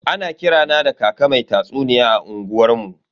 Ana kira na da kaka mai tatsuniya a unguwar mu.